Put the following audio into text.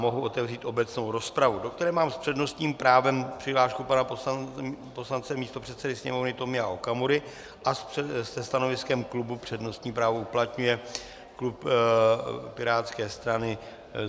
Mohu otevřít obecnou rozpravu, do které mám s přednostním právem přihlášku pana poslance místopředsedy Sněmovny Tomia Okamury a se stanoviskem klubu přednostní právo uplatňuje klub pirátské strany.